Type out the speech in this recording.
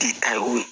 K'i ta ye o ye